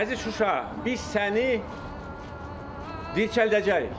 Əziz Şuşa, biz səni dirçəldəcəyik.